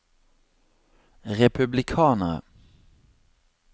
republikanere